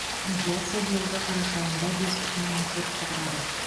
инфляция биылғы қарашада айында бес бүтін оннан төртті құрады